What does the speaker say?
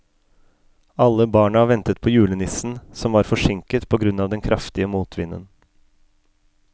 Alle barna ventet på julenissen, som var forsinket på grunn av den kraftige motvinden.